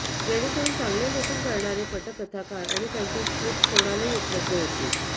जेणेकरुन चांगले लेखन करणारे पटकथाकार आणि त्यांच्या स्क्रिप्ट कोणालाही उपलब्ध होतील